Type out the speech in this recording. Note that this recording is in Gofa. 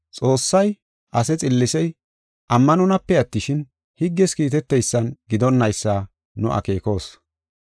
Xoossay ase xillisey ammanonape attishin, higges kiitetethan gidonnaysa nu akeekos.